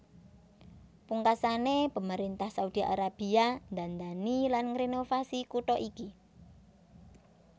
Pungkasané pemerintah Saudi Arabia ndandani lan ngrenovasi kutha iki